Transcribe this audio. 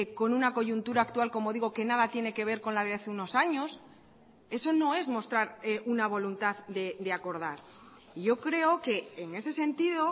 con una coyuntura actual como digo que nada tiene que ver con la de hace unos años eso no es mostrar una voluntad de acordar yo creo que en ese sentido